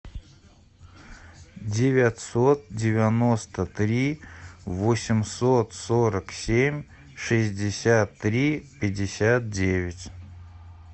девятьсот девяносто три восемьсот сорок семь шестьдесят три пятьдесят девять